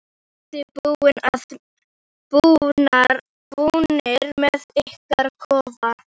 Eruð þið búnir með ykkar kofa?